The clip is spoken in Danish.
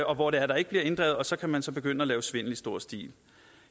og hvor det er der ikke bliver inddrevet og så kan man så begynde at lave svindel i stor stil